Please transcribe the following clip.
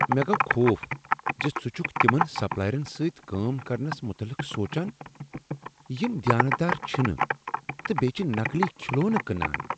مےٚ گوٚو خوف زِ ژٕ چھکھ تمن سپلایرن سۭتۍ کٲم کرنس متعلق سونٛچان تہ یم دیانتدار چھنہٕ تہٕ بیٚیہ چھ نقلی کھلونہٕ کٕنان۔